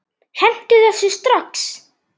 Hentu þessu strax!